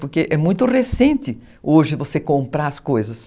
Porque é muito recente hoje você comprar as coisas.